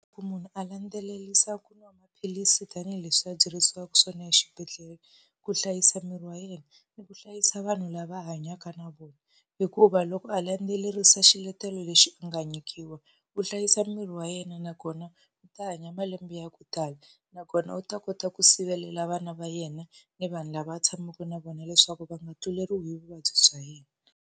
Loko munhu a landzelerisa ku nwa maphilisi tanihileswi a byeriwaka swona exibedhlele, ku hlayisa miri wa yena ni ku hlayisa vanhu lava a hanyaka na vona. Hikuva loko a landzelerisa xiletelo lexi u nga nyikiwa, u hlayisa miri wa yena nakona u ta hanya malembe ya ku tala. Nakona u ta kota ku sirhelela vana va yena ni vanhu lava tshamaka na vona leswaku va nga tluleriwi hi vuvabyi bya yena.